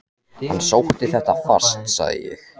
Hann sótti þetta fast sagði ég.